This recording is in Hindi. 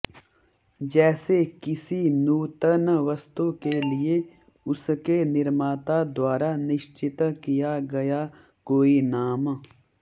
जैसे किसी नूतन वस्तु के लिए उसके निर्माता द्वारा निश्चित किया गया कोई नाम